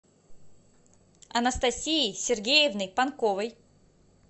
анастасией сергеевной панковой